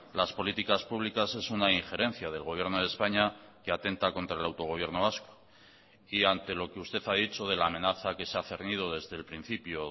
las políticas públicas es una injerencia del gobierno de españa que atenta contra el autogobierno vasco y ante lo que usted ha dicho de la amenaza que se ha cernido desde el principio